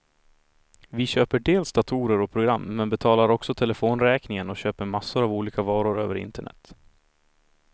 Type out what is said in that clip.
Vi köper dels datorer och program, men betalar också telefonräkningen och köper massor av olika varor över internet.